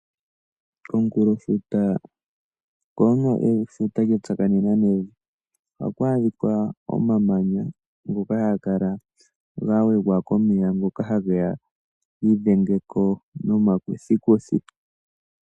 Komunkulofuto oko hoka efuta lya tsakanena nevi. Ohaku adhika omamanya ngoka haga kala ga wegwa komeya ngoka hage ya gi idhenge ko nomakuthikuthi.